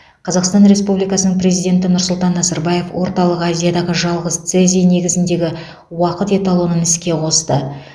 қазақстан республикасының президенті нұрсұлтан назарбаев орталық азиядағы жалғыз цезий негізіндегі уақыт эталонын іске қосты